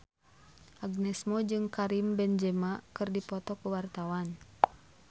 Agnes Mo jeung Karim Benzema keur dipoto ku wartawan